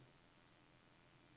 Surkær